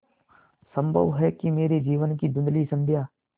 संभव है कि मेरे जीवन की धँुधली संध्या